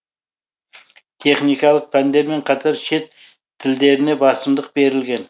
техникалық пәндермен қатар шет тілдеріне басымдық берілген